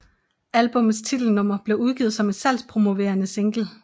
Albummets titelnummer blev udgivet som en salgspromoverende single